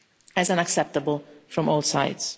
as unacceptable from all sides.